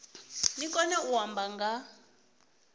ni kone u amba nga